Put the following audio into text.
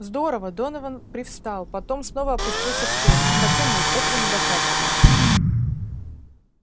здорово донован привстал потом снова опустился в кресло хотя нет этого недостаточно